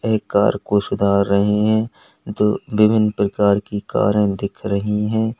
एक कार को सुधार रहे हैं जो विभिन्न प्रकार की कारें दिख रही हैं।